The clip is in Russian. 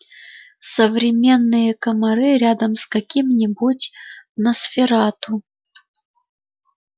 современные комары рядом с каким-нибудь носферату